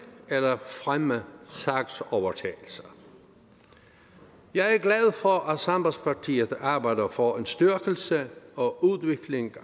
eller fremme sagsovertagelser jeg er glad for at sambandspartiet arbejder for en styrkelse og udvikling